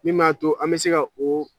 Min m'a to an bɛ se ka o